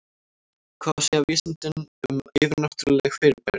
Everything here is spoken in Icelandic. Hvað segja vísindin um yfirnáttúrleg fyrirbæri?